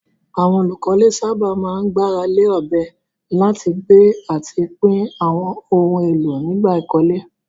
Àwọn olùkọ́lé sábà máa ń gbára lé ọ̀bẹ láti gbé àti pín àwọn ohun èlò nígbà ìkọ́lé.